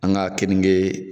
An ka keninge